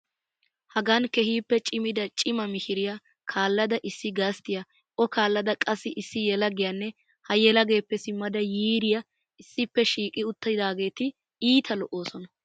Hagan keehippe cimida cima mishiriya kaallada issi gasttiya O kaallada qassi issi yelagiyanne ha yelageeppe simmada yiiriya issippe shiiqidi uttidaageeti iita lo"oosona.